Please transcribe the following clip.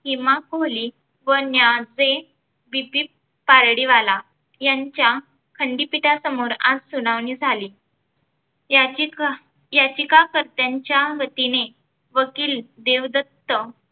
किमान कोहली व न्याचे बीपीपकार्डीवाला यांच्या खंडपीठा समोर आज सुनावणी झाली. याचीका याचिकाकर्त्याच्या वतीने वकील देवदत्त